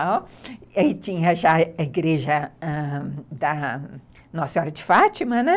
tinha já a igreja ãh da Nossa Senhora de Fátima, né.